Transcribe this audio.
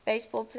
base ball players